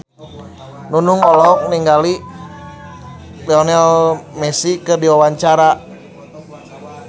Nunung olohok ningali Lionel Messi keur diwawancara